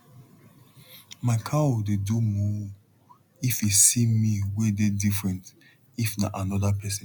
my cow dey do moo if e see me wey dey different if na anoda pesin